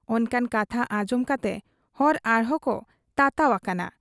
ᱚᱱᱠᱟᱱ ᱠᱟᱛᱷᱟ ᱟᱸᱡᱚᱢ ᱠᱟᱛᱮ ᱦᱚᱲ ᱟᱨᱦᱚᱸᱠᱚ ᱛᱟᱛᱟᱣ ᱟᱠᱟᱱᱟ ᱾